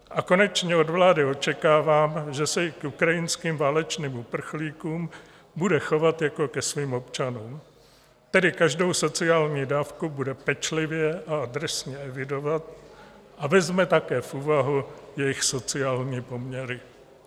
A konečně od vlády očekávám, že se i k ukrajinským válečným uprchlíkům bude chovat jako ke svým občanům, tedy každou sociální dávku bude pečlivě a adresně evidovat a vezme také v úvahu jejich sociální poměry.